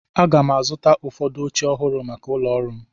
Aga m azụta ụfọdụ oche ọhụrụ maka ụlọ ọrụ m.